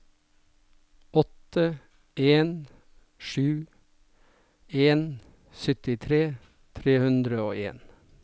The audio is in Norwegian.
åtte en sju en syttitre tre hundre og en